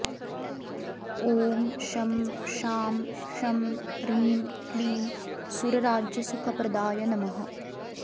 ॐ शं शां षं ह्रीं क्लीं सुरराज्यसुखप्रदाय नमः